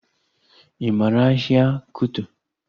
Ị maara ahịa Kuto?